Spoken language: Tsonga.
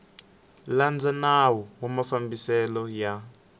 landza nawu wa mafambiselo ya